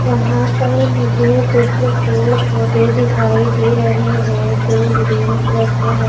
यहाँ पर मुझे कुछ पेड़ पौधे दिखाई दे रहे हैं जो ग्रीन कलर के हैं।